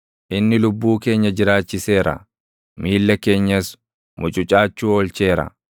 inni lubbuu keenya jiraachiseera; miilla keenyas mucucaachuu oolcheera.